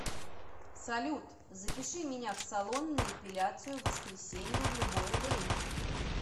салют запиши меня в салон на эпиляцию в воскресенье в любое время